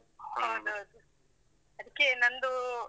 ಹೌದೌದು. ಅದಕ್ಕೇ ನಂದೂ.